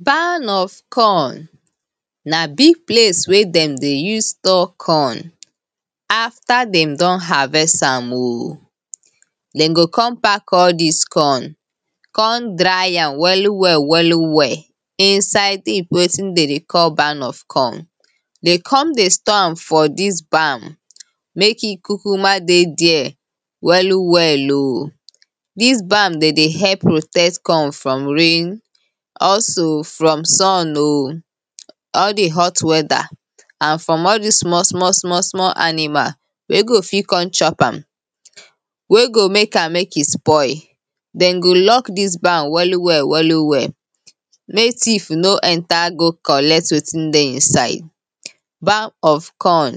barn of corn. na big place wey dem dey use store corn, after dem don harvest am o, dem go con park all dis corn, corn dry am wellu well, wellu well inside wetin dem dey call barn of corn. dey con dey store am for dis barn, mek e kukuma dey dere wellu wellu. dis barn dem dey help protect corn from rain, also from sun o, all the hot weather na from all dis small, small, small, small animal wey go fit con chop am, wey go mek am, mek e spoil, dem go lock dis barn wellu well wellu well, mek thief no enter go collect wetin dey inside. barn of corn,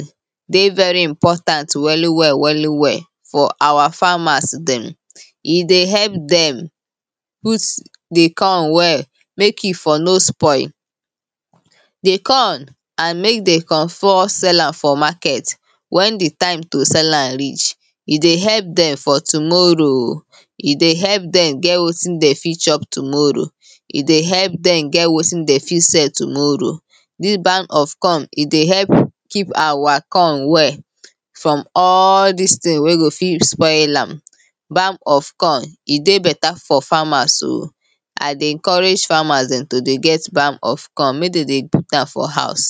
dey very important wellu well wellu well for awa farmers dem, e dey help dem put the corn well mek e for no spoil. the corn, i mek de con for sell am for market, wen the time to sell am reach, e dey help dem for tommorrow, e dey help dem ge wetin dem fit chop tommorrow, dey help dem get wetin de fit sell tommorrow, dis barn of corn e dey help keep awa corn well from all dis ting wey go fit spoil am. barn of corn, e dey better for farmers o, and dey encourage farmers dem to dey get barn of corn mek de dey put am for house.